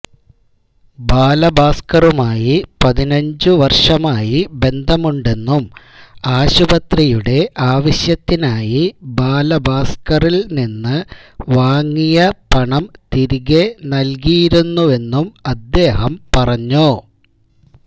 ബാലഭാസ്കറുമായി പതിനഞ്ചുവര്ഷമായി ബന്ധമുണ്ടെന്നും ആശുപത്രിയുടെ ആവശ്യത്തിനായി ബാലഭാസ്കറില് നിന്ന് വാങ്ങിയ പണം തിരികെ നല്കിയിരുന്നുവെന്നും അദ്ദേഹം പറഞ്ഞു